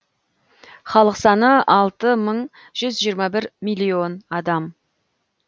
халық саны алты мың жүз жиырма бір миллион адам